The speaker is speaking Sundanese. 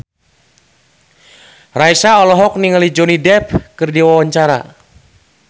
Raisa olohok ningali Johnny Depp keur diwawancara